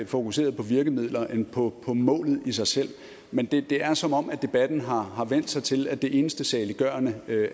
fokuseret på virkemidler end på målet i sig selv men det er som om debatten har har vendt sig til at det eneste saliggørende